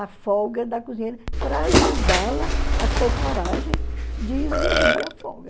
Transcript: A folga da cozinheira, para ajudá-la a ter coragem de exigir a folga.